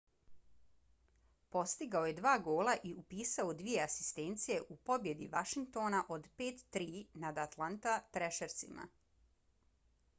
postigao je dva gola i upisao dvije asistencije u pobjedi washingtona od 5-3 nada atlanta thrashersima